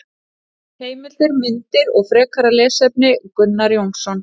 Heimildir, myndir og frekara lesefni Gunnar Jónsson.